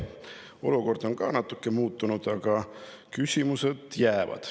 Olukord on ka natuke muutunud, aga küsimused on jäänud.